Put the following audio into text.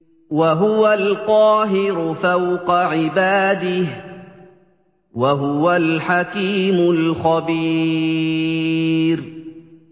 وَهُوَ الْقَاهِرُ فَوْقَ عِبَادِهِ ۚ وَهُوَ الْحَكِيمُ الْخَبِيرُ